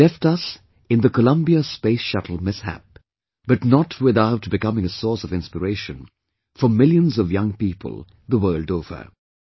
She left us in the Columbia space shuttle mishap, but not without becoming a source of inspiration for millions of young people the world over"